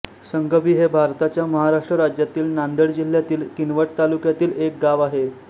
संगवी हे भारताच्या महाराष्ट्र राज्यातील नांदेड जिल्ह्यातील किनवट तालुक्यातील एक गाव आहे